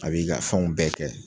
A b'i ka fɛnw bɛɛ kɛ